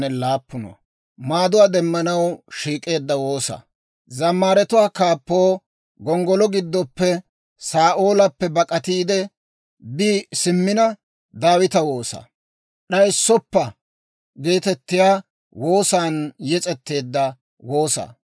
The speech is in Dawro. Taana maara; abeet S'oossaw, taana maara; taani neekko bak'atay. Bashshay aad'd'ana gakkanaw, ne k'efiyaa giddon bak'ataade attay.